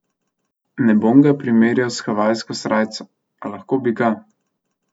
Ne bom ga primerjal s havajsko srajco, a lahko bi ga.